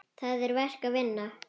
Það er verk að vinna.